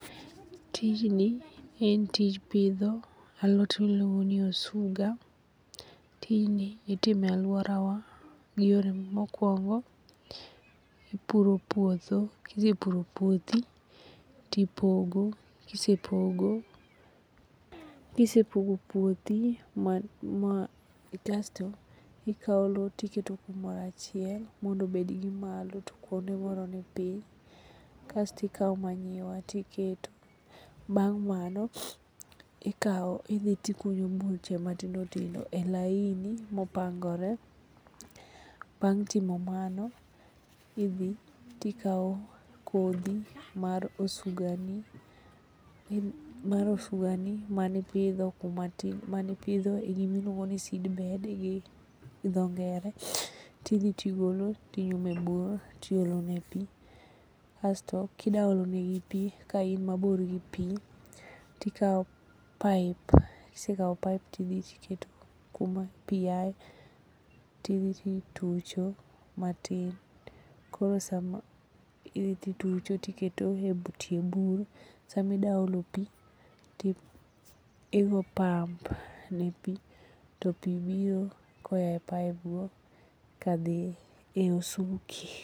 Tijni en tij pidho alot miluongo ni osuga. Tijni itimo e alworawa mokwongo, ipuro puodho kisepuro puothi tipogo kisepogo puothi kasto ikawo lo tiketo kumoro achiel mondo obed gi malo to kuonde moro ni piny kastikawo manyiwa tiketo. Bang' mano idhi tikunyo buche matindotindo e lain mopangore. Bang' timo mano idhi tikawo kodhi mar osugani manipidho e gimiluongo ni seedbed gi dho ngere tidhi tigolo tinyumo e bugo tiolonegi pi. Kasto kidaolonegi pi kain mabor gi pi tikawo paip, kisekawo paip tidhi tiketo kuma pi yae tidhi titucho matin tiketo gi e tie bur sami da olo pi, tigo pump ne pi to pi biro koa e paipgo kadhi e osuki.